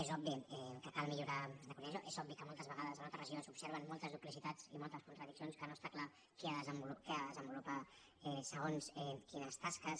és obvi que cal millorar és obvi que moltes vegades en moltes regions s’observen moltes duplicitats i moltes contradiccions que no està clar qui ha de desenvolupar segons quines tasques